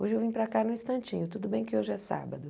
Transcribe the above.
Hoje eu vim para cá num instantinho, tudo bem que hoje é sábado.